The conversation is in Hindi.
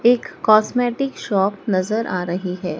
एक कॉस्मेटिक शॉप नजर आ रही है।